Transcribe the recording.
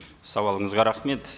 сауалыңызға рахмет